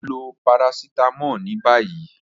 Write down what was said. Lọ lo paracetamol ni bayi.